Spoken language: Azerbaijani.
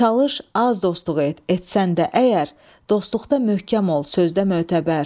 Çalış az dostluq et, etsən də əgər, dostluqda möhkəm ol, sözdə mötəbər.